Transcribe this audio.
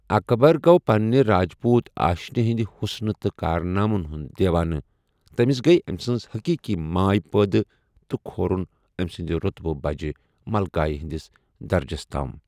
اکبر گوٚو پنٛنہِ راجپوٗت آشِنہِ ہِنٛدِ حُسنہٕ تہٕ کارنامن ہُنٛد دیوانہٕ، تمِس گٔیہِ أمہِ سٕنٛز حٔقیٖقی ماے پٲدٕ تہٕ كھورٗن امہِ سٗند روطبہٕ بجہِ ملكایہِ ہندِس درجس تام ۔